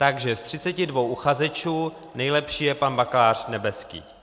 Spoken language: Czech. Takže ze 32 uchazečů nejlepší je pan bakalář Nebeský.